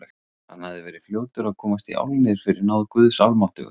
Hann hafði verið fljótur að komast í álnir fyrir náð Guðs almáttugs.